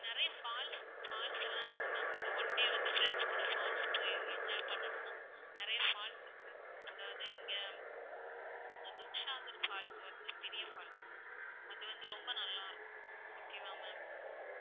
நிறைய falls falls எல்லாம் இருக்கு ma'am நீங்க one day வந்து friends கூட falls போய் enjoy பண்ணணும்னா, நிறைய falls இருக்கு. அதாவது இங்க துத்சாகர் ஃபால்ஸ் வந்து பெரிய falls அது வந்து ரொம்ப நல்லா இருக்கும் okay வா ma'am